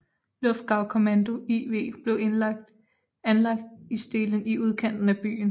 Luftgaukommando IV blev anlagt i Strehlen i udkanten af byen